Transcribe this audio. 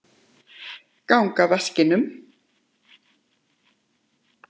Geng að vaskinum.